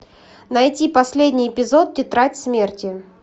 найти последний эпизод тетрадь смерти